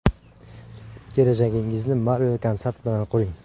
Kelajagingizni Marvel Consult bilan quring!